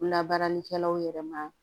Labaaralikɛlaw yɛrɛ ma